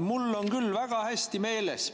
Mul on küll väga hästi meeles